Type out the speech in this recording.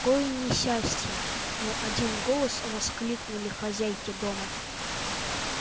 какое несчастье в один голос воскликнули хозяйки дома